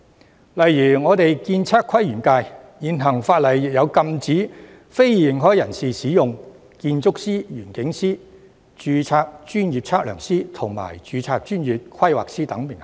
舉例說，我所屬的建測規園界的現行法例，亦禁止非認可人士使用建築師、園境師、註冊專業測量師及註冊專業規劃師等名銜。